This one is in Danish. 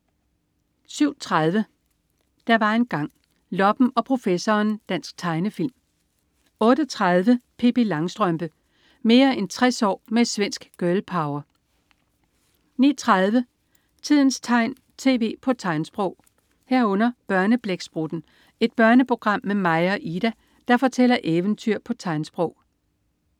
07.30 Der var engang. Loppen og professoren. Dansk tegnefilm 08.30 Pippi Langstrømpe. Mere end 60 år med "svensk girl power" 09.30 Tidens tegn, tv på tegnsprog 09.30 Børneblæksprutten. Et børneprogram med Maja og Ida, der fortæller eventyr på tegnsprog